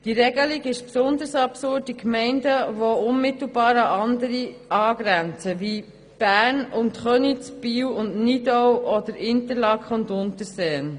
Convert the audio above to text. Diese Regelung ist besonders in Gemeinden absurd, die unmittelbar an andere Gemeinden angrenzen, wie Bern und Köniz, Biel und Nidau oder Interlaken und Unterseen.